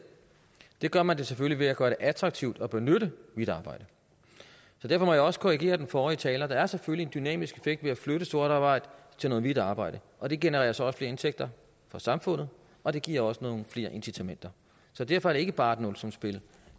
det gør man da selvfølgelig ved at gøre det attraktivt at benytte hvidt arbejde så derfor må jeg også korrigere den forrige taler der er selvfølgelig en dynamisk effekt ved at flytte sort arbejde til noget hvidt arbejde og det genererer så også flere indtægter for samfundet og det giver også nogle flere incitamenter så derfor er det ikke bare et nulsumsspil